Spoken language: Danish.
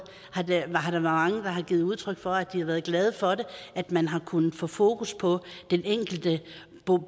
har der været mange der har givet udtryk for at de har været glade for at man har kunnet få fokus på den enkelte